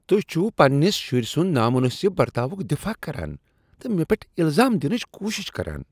تہۍ چھو پننس شُرۍ سُند نامنٲسب برتاوک دفاع کران تہٕ مےٚ پؠٹھ الزام دِنٕچ کوٗشش کران۔